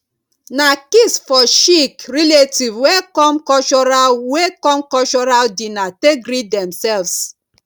na kiss for cheeck relatives wey come cultural wey come cultural dinner take greet demselves